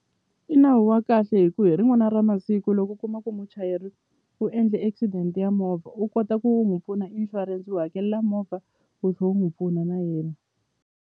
I nawu wa kahle hi ku hi rin'wana ra masiku loko u kuma ku muchayeri u endle accident ya movha u kota ku n'wi pfuna insurance wu hakelela movha wu tlhe wu n'wu pfuna na yena.